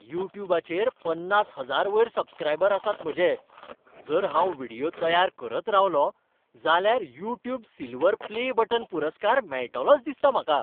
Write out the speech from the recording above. युट्युबाचेर पन्नास हजार वयर सबस्क्रायबर आसात म्हजे. जर हांव व्हिडियो तयार करत रावलों जाल्यार युट्यूब सिल्व्हर प्ले बटन पुरस्कार मेळटलोच दिसता म्हाका.